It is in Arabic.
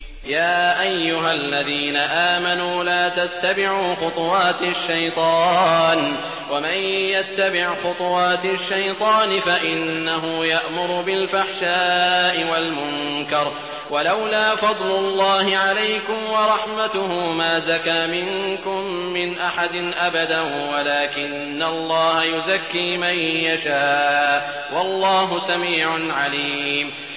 ۞ يَا أَيُّهَا الَّذِينَ آمَنُوا لَا تَتَّبِعُوا خُطُوَاتِ الشَّيْطَانِ ۚ وَمَن يَتَّبِعْ خُطُوَاتِ الشَّيْطَانِ فَإِنَّهُ يَأْمُرُ بِالْفَحْشَاءِ وَالْمُنكَرِ ۚ وَلَوْلَا فَضْلُ اللَّهِ عَلَيْكُمْ وَرَحْمَتُهُ مَا زَكَىٰ مِنكُم مِّنْ أَحَدٍ أَبَدًا وَلَٰكِنَّ اللَّهَ يُزَكِّي مَن يَشَاءُ ۗ وَاللَّهُ سَمِيعٌ عَلِيمٌ